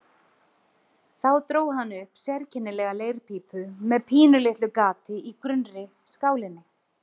Þá dró hann upp sérkennilega leirpípu með pínulitlu gati í grunnri skálinni.